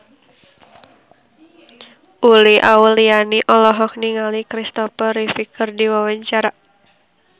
Uli Auliani olohok ningali Christopher Reeve keur diwawancara